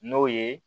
N'o ye